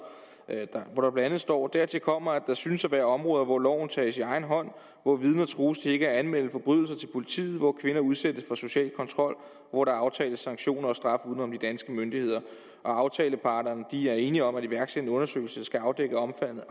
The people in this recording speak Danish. hvor der blandt andet står dertil kommer at der synes at være områder hvor loven tages i egen hånd hvor vidner trues til ikke at anmelde forbrydelser til politiet hvor kvinder udsættes for social kontrol og hvor der aftales sanktioner og straf uden om de danske myndigheder aftaleparterne er enige om at iværksætte en undersøgelse der skal afdække omfanget af